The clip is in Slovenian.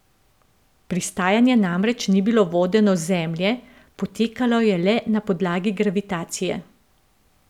Pristajanje namreč ni bilo vodeno z Zemlje, potekalo je le na podlagi gravitacije.